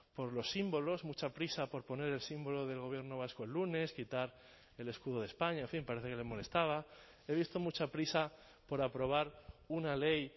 por los símbolos mucha prisa por poner el símbolo del gobierno vasco el lunes quitar el escudo de españa en fin parece que le molestaba he visto mucha prisa por aprobar una ley